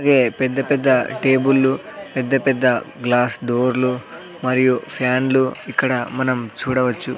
వే పెద్ద పెద్ద టేబుళ్ళు పెద్ద పెద్ద గ్లాస్ డోర్లు మరియు ఫ్యాన్లు ఇక్కడ మనం చూడవచ్చు.